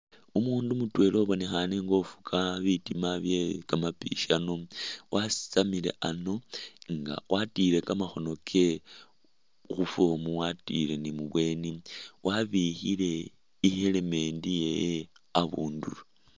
Umundu mutwela ubonekhane nga ufuga bitima byekamapishano wasitamile ano nga watile kamakhoone kewe khuform watilile ni mubweni wabikhile ni helmet yewe abundulo